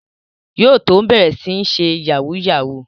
Yóò tó bẹ̀rẹ̀ sí ń ṣe Yahoo yahoo